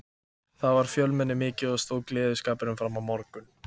Þar var fjölmenni mikið og stóð gleðskapurinn fram á morgun.